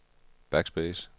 backspace